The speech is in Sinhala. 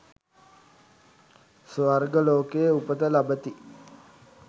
ස්වර්ග ලෝකයේ උපත ලබති.